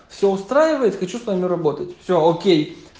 все устраивает хочу с вами работать все окей